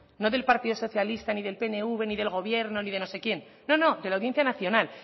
no del partido socialista ni del pnv ni del gobierno ni de no sé quién no no de la audiencia nacional